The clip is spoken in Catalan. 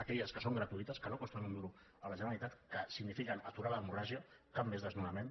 aquelles que són gratuïtes que no costen un duro a la generalitat que signifiquen aturar l’hemorràgia cap més desnonament